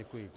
Děkuji.